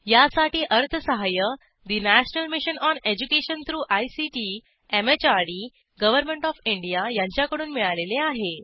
यासाठी अर्थसहाय्य national mission on education through ICT MHRD government of India यांच्याकडून मिळालेले आहे